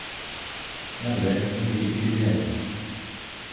Barwet nekikisichen